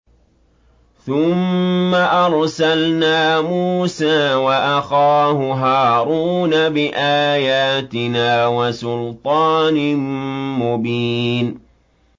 ثُمَّ أَرْسَلْنَا مُوسَىٰ وَأَخَاهُ هَارُونَ بِآيَاتِنَا وَسُلْطَانٍ مُّبِينٍ